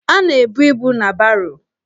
A na-ebu ibu na baro.